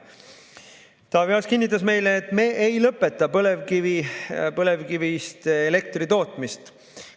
Taavi Aas kinnitas meile, et me ei lõpeta põlevkivist elektri tootmist.